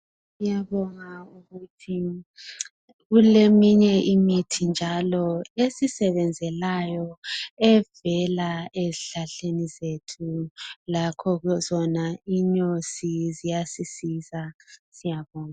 Ngiyabonga ukuthi kuleminye imithi njalo esisebenzelayo evela ezihlahleni zethu. Lakho khona inyosi ziyasisiza, siyabonga.